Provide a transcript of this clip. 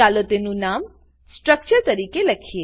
ચાલો તેનું નામ સ્ટ્રક્ચર નીચે લખીએ